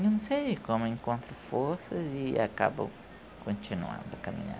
Não sei como encontro forças e acabo continuando a